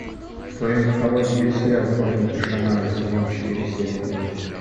в твоем каталоге есть сериал хроники шаннары сезон четыре серия три